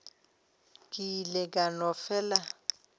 ke ile ka no fela